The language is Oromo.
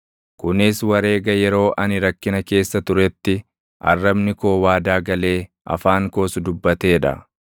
kunis wareega yeroo ani rakkina keessa turetti arrabni koo waadaa galee afaan koos dubbatee dha.